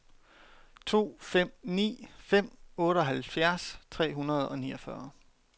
to fem ni fem otteoghalvfjerds tre hundrede og niogfyrre